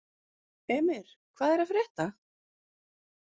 Emir, hvað er að frétta?